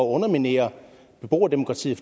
underminere beboerdemokratiet